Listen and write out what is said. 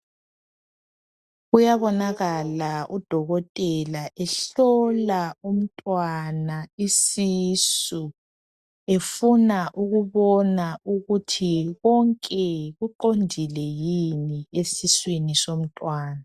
Kuyabonakala udokotela ehlola umntwana isisu efuna ukubona ukuthi konke kuqondile yini esiswini somntwana.